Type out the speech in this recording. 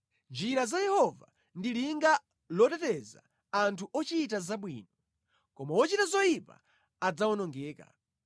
Njira za Yehova ndi linga loteteza anthu ochita zabwino, koma wochita zoyipa adzawonongeka.